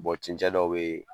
cɛncɛn dɔw be ye